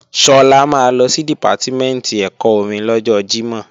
Sọlá máa lọ sí Dìpátímẹ̀ntì ẹ̀kọ́ orin lọ́jọ Jímọ̀